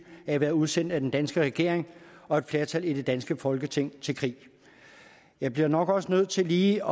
af at være udsendt af den danske regering og et flertal af det danske folketing til krig jeg bliver nok også nødt til lige